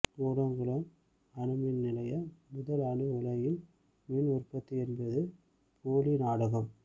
கூடங்குளம் அணு மின் நிலைய முதல் அணு உலையில் மின் உற்பத்தி என்பது போலி நாடகம்